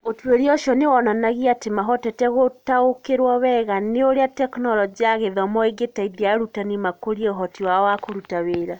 Ũtuĩria ũcio nĩ wonanagia atĩ mahotete gũtaũkĩrũo wega nĩ ũrĩa Tekinoronjĩ ya Gĩthomo ĩngĩteithia arutani makũrie ũhoti wao wa kũruta wĩra.